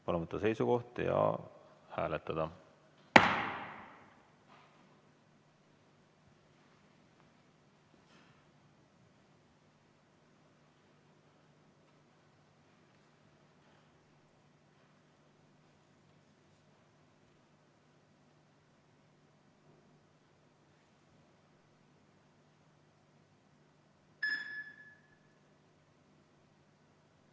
Palun võtta seisukoht ja hääletada!